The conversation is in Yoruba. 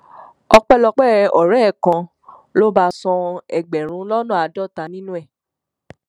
ọpẹlọpẹ ọrẹ ẹ kan ló bá a san ẹgbẹrún lọnà àádọta nínú ẹ